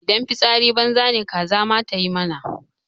Idan fitsari banza ne kaza ma tayi mana.